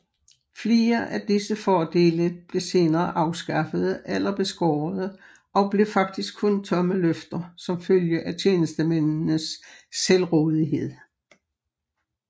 Flere af disse fordele blev senere afskaffede eller beskårede og blev faktisk kun tomme løfter som følge af tjenestemændenes selvrådighed